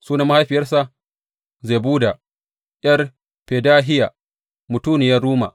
Sunan mahaifiyarsa Zebuda ’yar Fedahiya, mutuniyar Ruma.